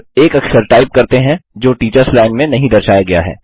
अब एक अक्षर टाइप करते हैं जो टीचर्स लाइन में नहीं दर्शाया गया है